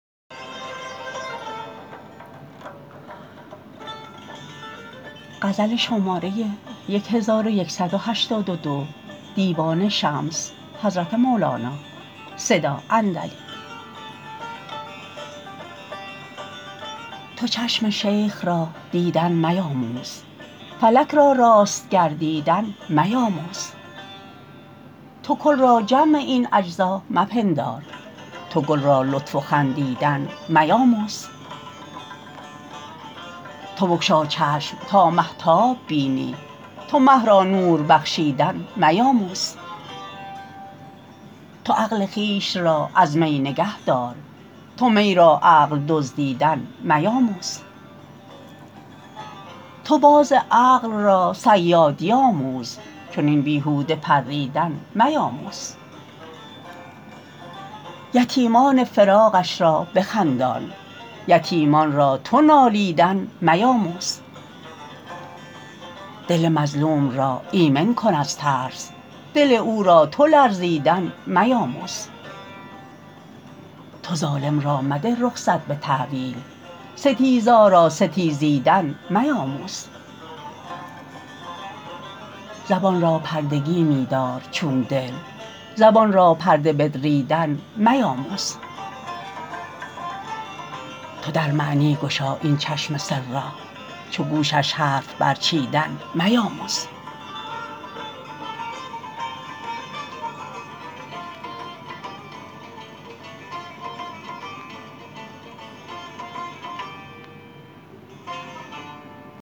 تو چشم شیخ را دیدن میاموز فلک را راست گردیدن میاموز تو کل را جمع این اجزا مپندار تو گل را لطف و خندیدن میاموز تو بگشا چشم تا مهتاب بینی تو مه را نور بخشیدن میاموز تو عقل خویش را از می نگهدار تو می را عقل دزدیدن میاموز تو باز عقل را صیادی آموز چنین بیهوده پریدن میاموز یتیمان فراقش را بخندان یتیمان را تو نالیدن میاموز دل مظلوم را ایمن کن از ترس دل او را تو لرزیدن میاموز تو ظالم را مده رخصت به تأویل ستیزا را ستیزیدن میاموز زبان را پردگی می دار چون دل زبان را پرده بدریدن میاموز تو در معنی گشا این چشم سر را چو گوشش حرف برچیدن میاموز